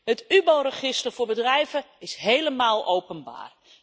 Het UBO register voor bedrijven is helemaal openbaar.